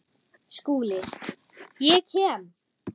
SKÚLI: Ég kem.